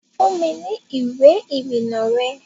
Fún mi ní ìwé ìrìnnà rẹ!